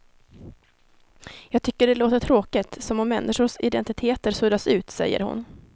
Jag tycker det låter tråkigt, som om människors identiteter suddas ut, säger hon.